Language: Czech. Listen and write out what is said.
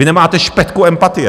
Vy nemáte špetku empatie.